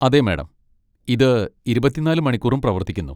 അതെ മാഡം, ഇത് ഇരുപത്തിനാല് മണിക്കൂറും പ്രവർത്തിക്കുന്നു.